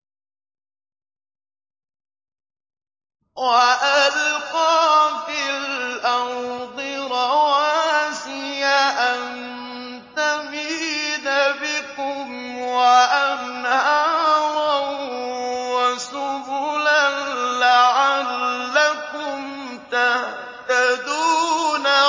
وَأَلْقَىٰ فِي الْأَرْضِ رَوَاسِيَ أَن تَمِيدَ بِكُمْ وَأَنْهَارًا وَسُبُلًا لَّعَلَّكُمْ تَهْتَدُونَ